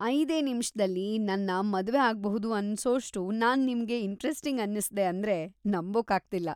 ಐದೇ ನಿಮ್ಷದಲ್ಲಿ ನನ್ನ ಮದ್ವೆ ಆಗ್ಬಹುದು ಅನ್ಸೋಷ್ಟು ನಾನ್‌ ನಿಮ್ಗೆ ಇಂಟ್ರೆಸ್ಟಿಂಗ್‌ ಅನ್ನಿಸ್ದೆ ಅಂದ್ರೆ ನಂಬೋಕ್ಕಾಗ್ತಿಲ್ಲ.